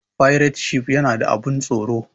Fairetshif yana da abun tsoro